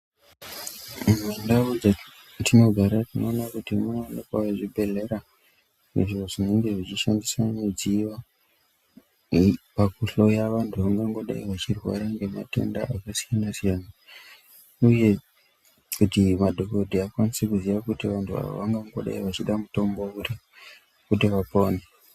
Mundau dzatinogara tinona kuti munoonekavo zvibhedhlera izvo zvinenge zvichishandisa midziyo pakuhloya vantu vangangodai vachirwara ngematenda akasiyana-siyana, uye kuti madhogodheya akwanise kuziye kuti vantu ava vangangodai vachida mutombo uri kuti vapone.